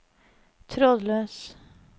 trådløs